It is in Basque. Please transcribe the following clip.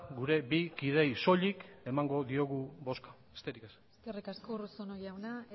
gure bi kideei soilik emango diogu bozka besterik ez eskerrik asko urruzuno jauna